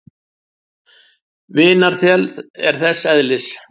Vinarþel er þess eðlis.